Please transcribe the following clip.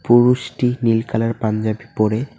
পুরুষটি নীল কালার পাঞ্জাবি পরে--